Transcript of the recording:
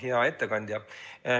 Hea ettekandja!